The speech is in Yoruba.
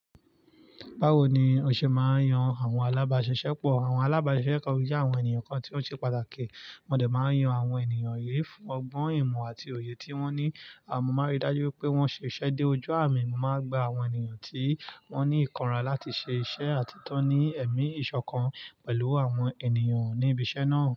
Báwo ni o ṣe máa ń yan àwọn alábaṣẹ́ṣẹ́pọ̀? Àwọn alábáṣẹ́ṣẹ́pọ̀ o je àwọn ènìyàn kan tí ó ṣe pàtàkì. Wọ́n dẹ̀ máa ń yan àwọn ènìyàn yìí fún ọgbọ́n ìmọ̀ àti òye tí wọ́n ní. Mo maa n ri dájú wipé wọ́n ṣe ṣẹ́ dé ojú àmì mo maa n gba àwọn ènìyàn tí wọ́n ní ìkanra láti ṣe iṣẹ́ àti ti won ní ẹ̀mí ìṣọ̀kan pẹ̀lú àwọn ènìyàn ní ibi iṣẹ́ náà.